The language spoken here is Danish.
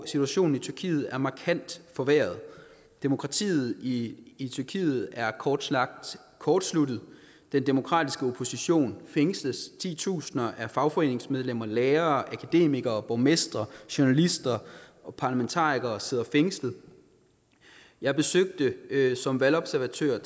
situationen i tyrkiet er markant forværret demokratiet i i tyrkiet er kort sagt kortsluttet den demokratiske opposition fængsles titusinder af fagforeningsmedlemmer lærere akademikere borgmestre journalister og parlamentarikere sidder fængslet jeg besøgte som valgobservatør